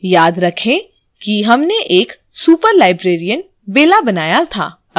याद रखें कि हमने एक superlibrarian bella बनाया था